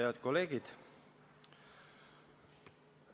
Head kolleegid!